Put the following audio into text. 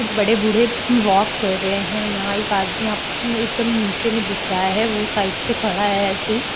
कूच बडे-बूढ़े वॉक कर रहे हैं यहा एक आदमी आप उ एकदम नीचेमे भी दिख रहा है वो साईड से खडा है ऐसेही।